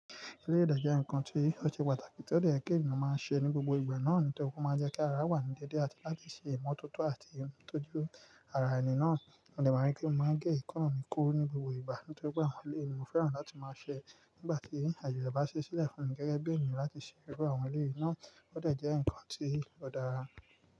Ilé ìdájọ́ ńkan tí ó ṣe pàtàkì tí ó lè kí ènìyàn máa ṣe ní gbogbo ìgbà náà ni tó máa jẹ́ kí ara wà ní déédé àti láti ṣe ìmọ́tótó àti ń tọ́jú ara ènìyàn náà. Mo lè mọ̀ wípé mo máa gẹ́ ìkọ́nrinnì kúrú ní gbogbo ìgbà nítorí pé àwọn ilé ènìyàn fẹ́ràn láti máa ṣe nígbà tí àjọ̀dún bá ṣẹ́ sílẹ̀ fún gẹ́gẹ́ bí ènìyàn láti ṣe ẹgbẹ́ àwọn ilé yìí náà ó lè jẹ́ ǹkan tí ó dára.